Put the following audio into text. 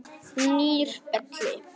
Nýr Belli.